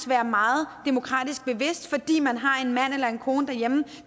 være meget demokratisk bevidst fordi man har en mand eller en kone derhjemme